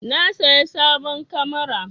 Na saya sabon kamara.